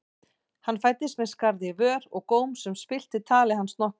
Hann fæddist með skarð í vör og góm sem spillti tali hans nokkuð.